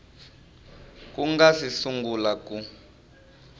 ku nga si sungula ku